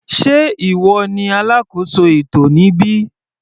Sé ìwọ ní alákóso ètò níbí.